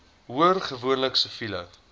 hoor gewoonlik siviele